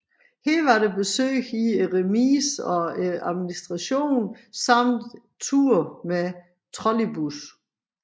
Her var der besøg i remise og administration samt tur med trolleybus